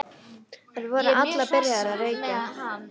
Þær voru allar byrjaðar að reykja.